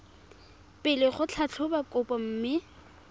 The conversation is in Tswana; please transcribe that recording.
pele go tlhatlhoba kopo mme